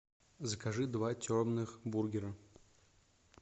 закажи два темных бургера